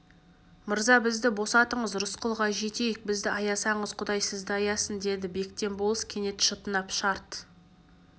мырза бізді босатыңыз рысқұлға жетейік бізді аясаңыз құдай сізді аясын деді бектен болыс кенет шытынап шарт